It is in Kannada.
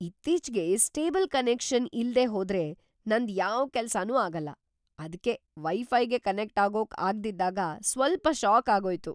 ಇತ್ತೀಚ್ಗೆ ಸ್ಟೇಬಲ್‌ ಕನೆಕ್ಷನ್‌ ಇಲ್ದೇ ಹೋದ್ರೆ ನಂದ್‌ ಯಾವ್‌ ಕೆಲ್ಸನೂ ಆಗಲ್ಲ. ಅದ್ಕೇ ವೈ-ಫೈಗೆ ಕನೆಕ್ಟ್‌ ಆಗೋಕ್ ಆಗ್ದಿದ್ದಾಗ ಸ್ವಲ್ಪ ಷಾಕ್‌ ಆಗೋಯ್ತು.